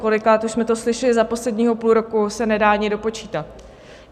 Kolikrát už jsme to slyšeli za posledního půl roku se nedá ani dopočítat.